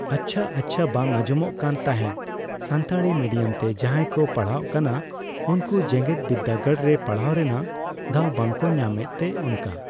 ᱟᱪᱪᱷᱟ-ᱟᱪᱪᱷᱟ ᱵᱟᱝ ᱟᱸᱡᱚᱢᱚᱜ ᱠᱟᱱ ᱛᱟᱦᱮᱸᱜ ᱥᱟᱱᱛᱟᱲᱤ ᱢᱤᱰᱤᱭᱟᱢᱛᱮ ᱡᱟᱦᱟᱸᱭ ᱠᱚ ᱯᱟᱲᱦᱟᱜ ᱠᱟᱱᱟ ᱩᱱᱠᱩ ᱡᱮᱜᱮᱛ ᱵᱤᱫᱽᱫᱟᱹᱜᱟᱲᱨᱮ ᱯᱟᱲᱦᱟᱣ ᱨᱮᱱᱟᱜ ᱫᱟᱣ ᱵᱟᱠᱚ ᱧᱟᱢᱮᱜᱛᱮ ᱚᱱᱠᱟ